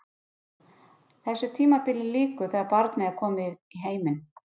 Þessu tímabili lýkur þegar barnið er komið í heiminn.